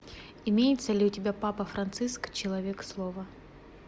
имеется ли у тебя папа франциск человек слова